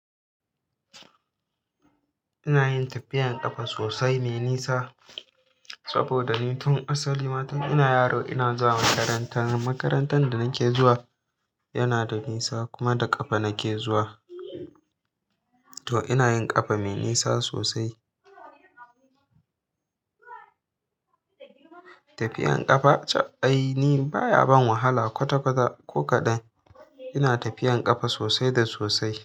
Ina yin tafiyan ƙafa sosai, mai nisa. Saboda ni tun asali ma tun ina yaro ina zuwa makaranta. Makarantar da nake zuwa yana da nisa kuma da ƙafa nake zuwa to ina yin kafa mai nisa sosai. Tafiyan ƙafa, caɓ ai ni baya ban wahala kwata kwata ko kaɗan. Ina tafiyan kafa sosai da sosai.